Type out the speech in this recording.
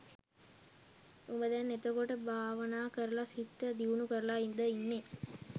උඹ දැන් එතකොට භාවනා කරල සිත දියුණු කරලා ද ඉන්නේ